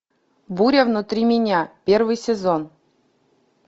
буря внутри меня первый сезон